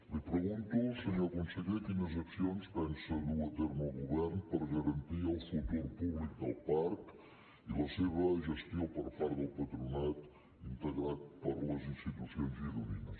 li pregunto senyor conseller quines accions pensa dur a terme el govern per garantir el futur públic del parc i la seva gestió per part del patronat integrat per les institucions gironines